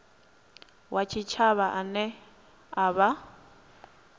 wa tshitshavha ane a vha